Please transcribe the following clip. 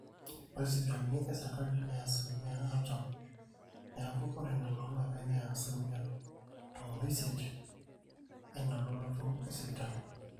ore sipitalini esrikali neya asilimia artam neeku ore nena ooloopeny neya asilimia tomon oisiet eina lototo esipitali